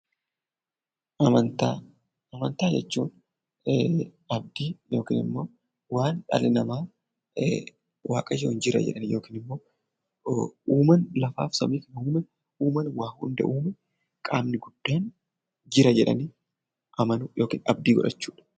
Amantaa, amantaa jechuun abdii yookaanimmoo waan dhalli namaa waaqayyoon jira jedhanii yookinimmoo uumaan lafaaf samii uume, uumaan waa hunda uume qaamni guddaan jira jedhanii amanuu yookiin abdii godhachuudha.